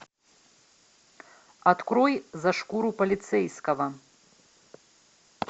открой за шкуру полицейского